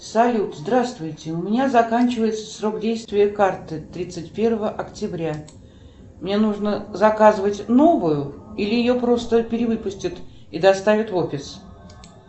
салют здравствуйте у меня заканчивается срок действия карты тридцать первого октября мне нужно заказывать новую или ее просто перевыпустят и доставят в офис